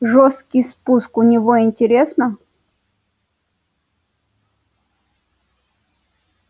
жёсткий спуск у него интересно